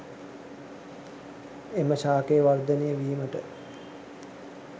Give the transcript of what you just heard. එම ශාකය වර්ධනය වීමට